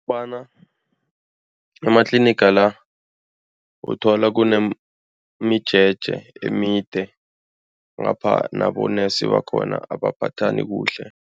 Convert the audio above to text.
Bonyana amatliniga la uthola kunemijeje emide ngapha nabonesi bakhona abaphathani kuhle.